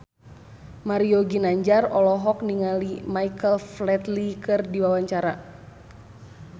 Mario Ginanjar olohok ningali Michael Flatley keur diwawancara